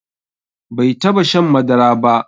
Bai taba shan madara ba